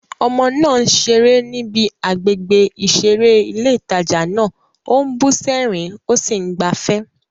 Ọmọ náà ń ṣeré níbi àgbègbè ìṣeré ilé ìtajà náà, ó ń bú sẹ́rìn-ín, ó sì ń gbafẹ́.